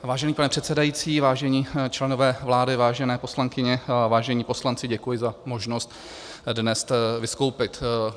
Vážený pane předsedající, vážení členové vlády, vážené poslankyně, vážení poslanci, děkuji za možnost dnes vystoupit.